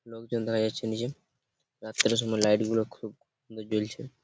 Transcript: লোকজন দাড়িয়ে আছে নীচে রাত্রের সময় লাইট গুলো খুব সুন্দর জলছে।